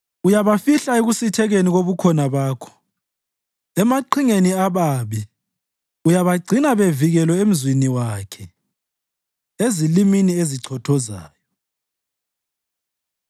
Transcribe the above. Uyabafihla ekusithekeni kobukhona Bakho emaqingeni ababi uyabagcina bevikelwe emzini wakhe ezilimini ezichothozayo.